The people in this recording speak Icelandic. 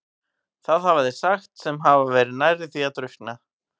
Það hafa þeir sagt sem hafa verið nærri því að drukkna.